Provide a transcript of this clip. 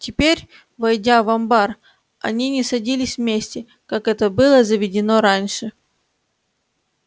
теперь войдя в амбар они не садились вместе как это было заведено раньше